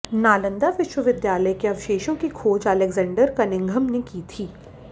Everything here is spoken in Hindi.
नालन्दा विश्वविद्यालय के अवशेषों की खोज अलेक्जेंडर कनिंघम ने की थी